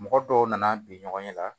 Mɔgɔ dɔw nana bi ɲɔgɔn ɲɛ la